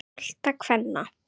bolta kvenna.